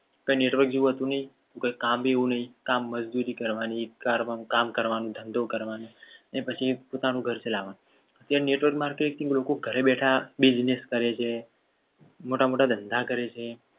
કઈ network જેવું હતું. નહીં કોઈ કામ બી એવું નહીં કામ મજબૂરી કરવાની એક ઘરકામ કરવાનું ધંધો કરવાનો ને પછી પોતાનું ઘર ચલાવવાનું અત્યારે network માટે અનેક લોકો ઘરે બેઠા business કરે છે. મોટા મોટા ધંધા કરે છે.